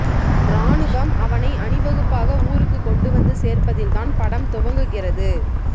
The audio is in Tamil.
ராணுவம் அவனை அணிவகுப்பாக ஊருக்குக் கொண்டுவந்து சேர்ப்பதில் தான் படம் துவங்குகிறது